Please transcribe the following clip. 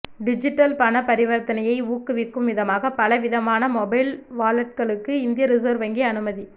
digital பண பரிவர்த்தனையை ஊக்குவிக்கும் விதமாக பல விதமான மொபைல் வாலட்களுக்கு இந்திய ரிசர்வ் வங்கி அனுமதி